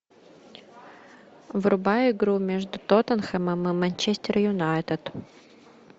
врубай игру между тоттенхэмом и манчестер юнайтед